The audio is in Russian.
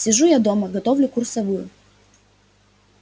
сижу я дома готовлю курсовую